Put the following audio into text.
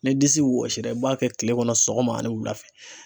Ni disi wɔsira i b'a kɛ kile kɔnɔ sɔgɔma ani wulafɛ.